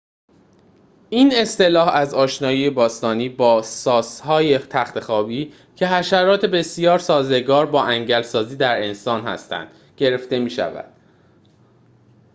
این اصطلاح از آشنایی باستانی با ساس‌های تخت‌خوابی که حشرات بسیار سازگار با انگل سازی در انسان هستند گرفته می شود